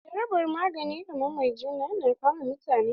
Jarabar magani kaman marijuana na kama mutane.